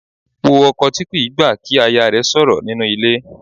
Wo ọkọ tí kì í gbà kí aya rẹ̀ sọ̀rọ̀ nínú ilé.